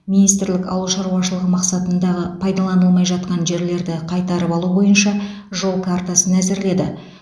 министрлік ауыл шаруашылығы мақсатындағы пайдаланылмай жатқан жерлерді қайтарып алу бойынша жол картасын әзірледі